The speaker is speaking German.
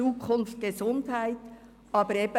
«Zukunft Gesundheit» steht im Titel des Vorstosses.